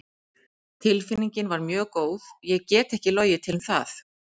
Tilfinningin var mjög góð, ég get ekki logið til um það.